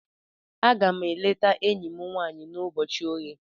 Aga m aga-eleta enyi m nwanyị n'ụbọchị oghe.